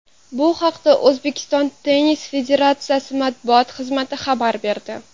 Bu haqda O‘zbekiston tennis federatsiyasi matbuot xizmati xabar berdi .